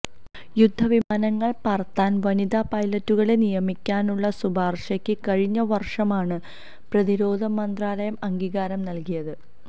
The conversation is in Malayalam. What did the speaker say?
യുദ്ധവിമാനങ്ങള് പറത്താന് വനിതാ പൈലറ്റുകളെ നിയമിക്കാനുള്ള ശുപാര്ശയ്ക്ക് കഴിഞ്ഞ വര്ഷമാണ് പ്രതിരോധ മന്ത്രാലയം അംഗീകാരം നല്കിയത്